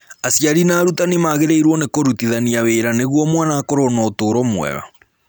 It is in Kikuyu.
Aciari na arutani magĩrĩirũo nĩ kũrutithania wĩra nĩguo mwana akorũo na ũtũũro mwega.